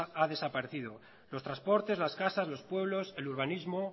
ha desaparecido los transportes las casas los pueblos el urbanismo